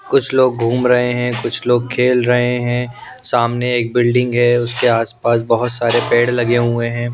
कुछ लोग घूम रहे हैं कुछ लोग खेल रहे हैं सामने एक बिल्डिंग है उसके आसपास बहुत सारे पेड़ लगे हुए हैं।